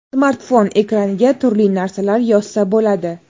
Smartfon ekraniga turli narsalar yozsa bo‘ladi.